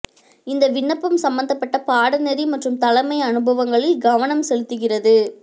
இந்த விண்ணப்பம் சம்பந்தப்பட்ட பாடநெறி மற்றும் தலைமை அனுபவங்களில் கவனம் செலுத்துகிறது